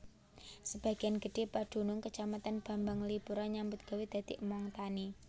Sebagian gedhé padunung Kacamatan Bambanglipuro nyambut gawé dadi among tani